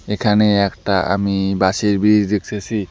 এখানে একটা আমি বাঁশের ব্রিজ দেখতেসি।